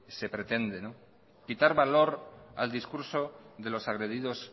se pretende quitar valor al discurso de los agredidos